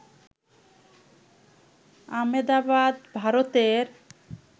আমেদাবাদ ভারতের